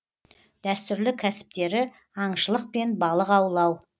дәстүрлі кәсіптері аңшылық пен балық аулау